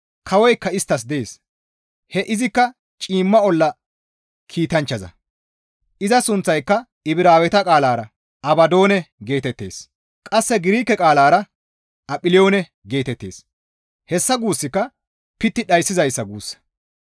Kawoykka isttas dees; he izikka ciimma olla kiitanchchaza; iza sunththayka Ibraaweta qaalara, «Abadoone» geetettees. Qasse Girike qaalara, «Aphiliyoone» geetettees; hessa guussika pitti dhayssizayssa guussa.